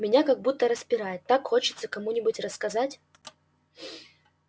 меня как будто распирает так хочется кому-нибудь рассказать